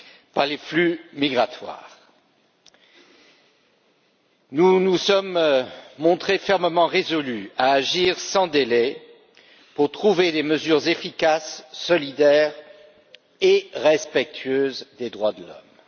par les flux migratoires. Nous nous sommes montrés fermement résolus à agir sans délai pour trouver des mesures efficaces, solidaires et respectueuses des droits de l'homme.